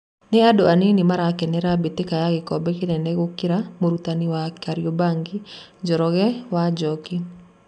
Nĩ andũ anini marakenera mbĩtĩka ya gĩkombe kĩnene gũkĩra mũrutani wa Kariobangi Njoroge wa Njoki.